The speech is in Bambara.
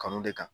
Kanu de kan